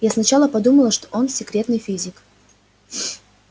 я сначала подумала что он секретный физик